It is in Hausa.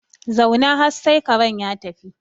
Zauna har sai karen ya tafi